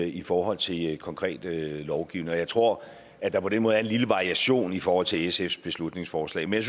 i forhold til konkret lovgivning og jeg tror at der på den måde er en lille variation i forhold til sfs beslutningsforslag men